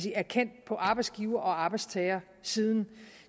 erkendt på arbejdsgiver og arbejdstagersiden